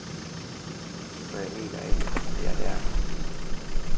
For jeg mener ikke, vi er der, endnu.